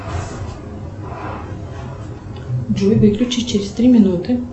джой выключи через три минуты